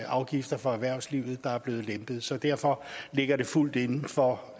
afgifter for erhvervslivet der er blevet lempet så derfor ligger det fuldt inden for